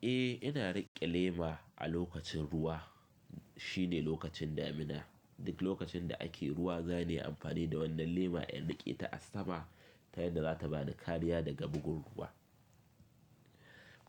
Eh, ina riƙe lema a lokacin ruwa. Shi ne lokacin damina. Duk lokacin da ake ruwa, zaniyi amfani da wannan lema in riƙe ta a sama ta yadda za ta bani kariya daga bugun ruwa.